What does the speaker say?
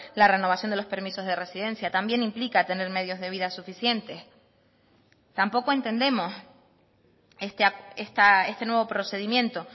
la renovación de los permisos de residencia también implica tener medios de vida suficientes tampoco entendemos este nuevo procedimiento